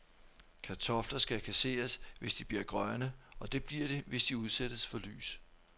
Kartofler skal kasseres, hvis de bliver grønne, og det bliver de, hvis de udsættes for lys.